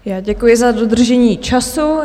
Já děkuji za dodržení času.